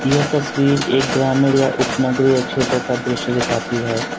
यह तस्वीर एक ग्रामीण या उपनगरीय क्षेत्र का दृश्य दिखाती है।